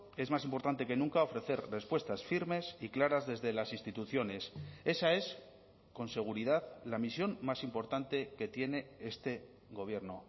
es más importante que nunca ofrecer respuestas firmes y claras desde las instituciones esa es con seguridad la misión más importante que tiene este gobierno